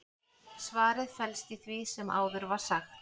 svarið felst í því sem áður var sagt